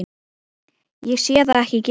Ég sé það ekki gerast.